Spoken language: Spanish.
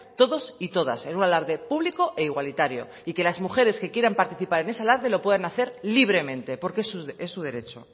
todos y todas en un alarde público e igualitario y que las mujeres que quieran participar en ese alarde lo puedan hacer libremente porque es su derecho